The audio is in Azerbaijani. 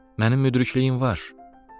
Mənim müdrikliyim var,